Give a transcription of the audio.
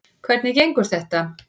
Hvernig gengur þetta?